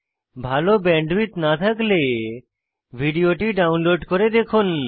ভাল ব্যান্ডউইডথ না থাকলে ভিডিওটি ডাউনলোড করে দেখুন